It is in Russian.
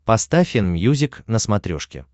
поставь энмьюзик на смотрешке